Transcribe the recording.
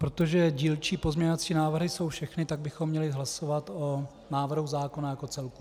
Protože dílčí pozměňovací návrhy jsou všechny, tak bychom měli hlasovat o návrhu zákona jako celku.